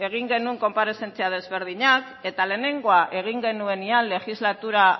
egin genuen konparezentzia desberdinak eta lehenengoa egin genuenean legislatura